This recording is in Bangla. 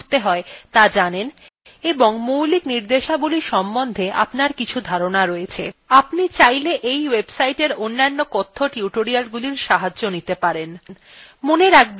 আপনি চাইলে এই websiteএর অন্য কথ্য tutorialগুলির সাহায্য নিতে পারেন